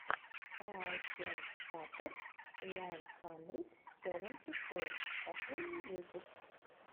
аачен фатер уан хандрид севенти фор последний выпуск